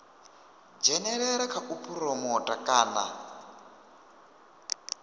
dzhenelela kha u phuromotha kana